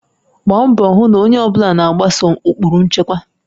Gbaa mbọ hụ na onye ọ bụla na-agbaso ụkpụrụ nchekwa